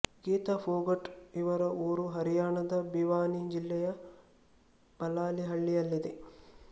ಗೀತಾ ಫೋಗಟ್ ಇವರ ಊರು ಹರಿಯಾಣದ ಭಿವಾನಿ ಜಿಲ್ಲೆಯ ಬಲಾಲಿ ಹಳ್ಳಿಯಲ್ಲಿದ್ದೆ